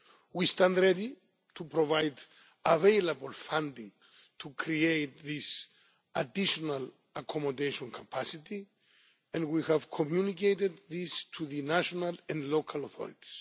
We stand ready to provide available funding to create this additional accommodation capacity and we have communicated this to the national and local authorities.